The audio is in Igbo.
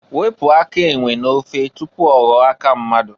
Wepu aka enwe n'ofe tupu ọghọọ aka mmadụ.